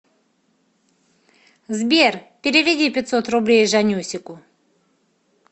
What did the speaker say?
сбер переведи пятьсот рублей жаннюсику